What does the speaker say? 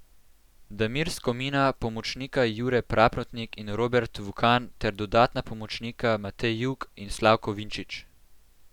Damir Skomina, pomočnika Jure Praprotnik in Robert Vukan ter dodatna pomočnika Matej Jug in Slavko Vinčič.